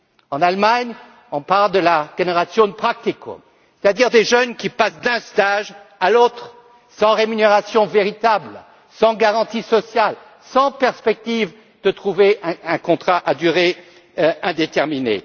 En Allemagne, on parle de la Generation Praktikum c'est à dire de jeunes qui passent d'un stage à l'autre sans rémunération véritable, sans garantie sociale et sans perspective de trouver un contrat à durée indéterminée.